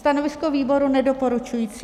Stanovisko výboru nedoporučující.